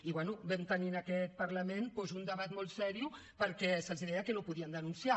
i bé vam tenir en aquest parlament doncs un debat molt seriós perquè se’ls deia que no podien denunciar